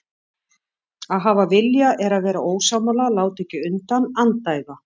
Að hafa vilja er að vera ósammála, láta ekki undan, andæfa.